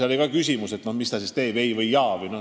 –, siis ka temalt küsiti, mis ta siis teeb, kas ei või jaa.